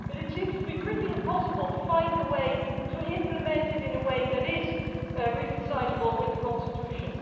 It seems almost impossible to find a way to implement it in a way that is reconcilable with the constitution.